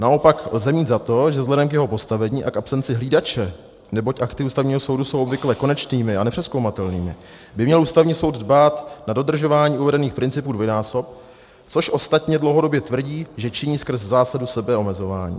Naopak lze mít za to, že vzhledem k jeho postavení a k absenci hlídače, neboť akty Ústavního soudu jsou obvykle konečnými a nepřezkoumatelnými, by měl Ústavní soud dbát na dodržování uvedených principů dvojnásob, což ostatně dlouhodobě tvrdí, že činí skrz zásadu sebeomezování.